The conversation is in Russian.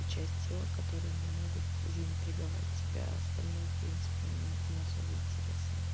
и часть тела которые не могут заинтриговать тебя остальное в принципе ни не особо интересно